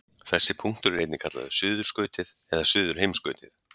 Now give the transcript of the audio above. Þessi punktur er einnig kallaður suðurskautið eða suðurheimskautið.